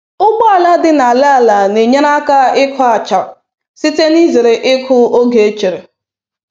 Ụgbọala dị n’ala ala na-enyere aka ịkụ acha site n’izere ịkụ oge echere